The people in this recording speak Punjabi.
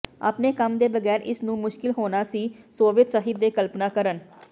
ਆਪਣੇ ਕੰਮ ਦੇ ਬਗੈਰ ਇਸ ਨੂੰ ਮੁਸ਼ਕਲ ਹੋਣਾ ਸੀ ਸੋਵੀਅਤ ਸਾਹਿਤ ਦੇ ਕਲਪਨਾ ਕਰਨ